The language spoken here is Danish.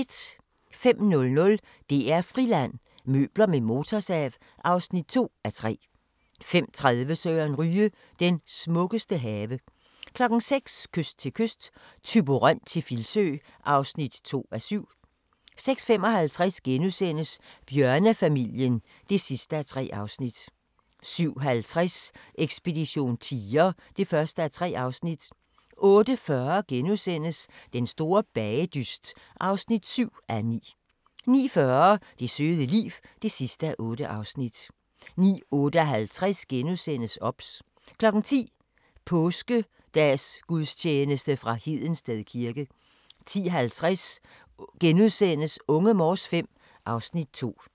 05:00: DR-Friland: Møbler med motorsav (2:3) 05:30: Søren Ryge – den smukkeste have 06:00: Kyst til kyst – Thyborøn til Filsø (2:7) 06:55: Bjørnefamilien (3:3)* 07:50: Ekspedition tiger (1:3) 08:40: Den store bagedyst (7:9)* 09:40: Det søde liv (8:8) 09:58: OBS * 10:00: Påskedagsgudstjeneste fra Hedensted kirke 10:50: Unge Morse V (Afs. 2)*